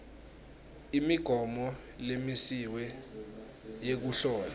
imigomo lemisiwe yekuhlola